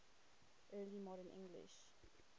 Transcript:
early modern english